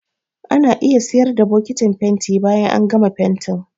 Ana iya siyar da bokitin fenti bayan an gama fentin.